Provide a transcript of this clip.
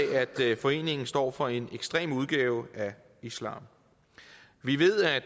foreningen står for en ekstrem udgave af islam vi ved at